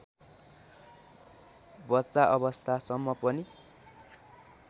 बच्चा अवस्थासम्म पनि